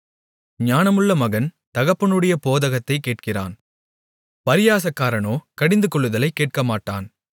ஞானமுள்ள மகன் தகப்பனுடைய போதகத்தைக் கேட்கிறான் பரியாசக்காரனோ கடிந்துகொள்ளுதலை கேட்கமாட்டான்